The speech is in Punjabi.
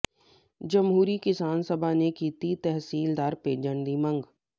ਜਮਹੂਰੀ ਕਿਸਾਨ ਸਭਾ ਨੇ ਕੀਤੀ ਤਹਿਸੀਲਦਾਰ ਭੇਜਣ ਦੀ ਮੰਗ